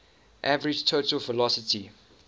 average total velocity